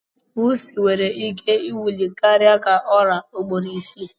Pusi can nwere ike iwuli karia ka ọra ugboro isi.